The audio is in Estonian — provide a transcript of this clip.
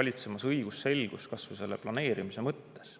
valitseb õigusselgus ka planeerimise mõttes.